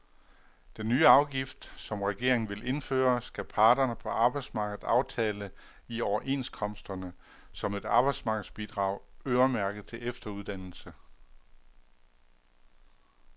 Den nye afgift, som regeringen vil indføre, skal parterne på arbejdsmarkedet aftale i overenskomsterne som et arbejdsmarkedsbidrag øremærket til efteruddannelse.